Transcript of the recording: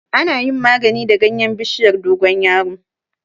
Ana yin magani da ganyen bishiyar dogon yaro.